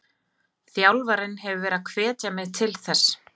Þjálfarinn hefur verið að hvetja mig til þess.